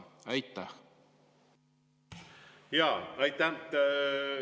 Aitäh!